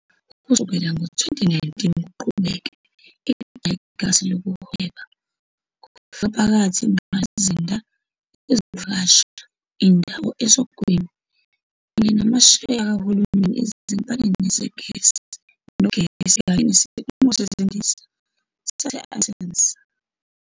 Kusukela ngo-2019 kuqhubeke, iqala igagasi lokuhweba, kufaka phakathi ingqalasizinda yezokuvakasha, indawo esogwini, kanye namasheya kahulumeni ezinkampanini zegesi nogesi kanye nesikhumulo sezindiza sase-Athens.